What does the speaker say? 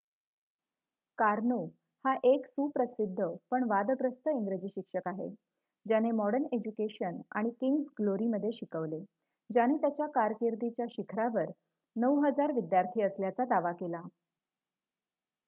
Karnaugh हा एक सुप्रसिद्ध पण वादग्रस्त इंग्रजी शिक्षक आहे ज्याने मॉडर्न एज्युकेशन आणि किंग्स ग्लोरीमध्ये शिकवले ज्याने त्याच्या कारकिर्दीच्या शिखरावर ९,००० विद्यार्थी असल्याचा दावा केला